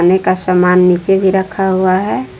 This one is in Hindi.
ने का सामान नीचे भी रखा हुआ है।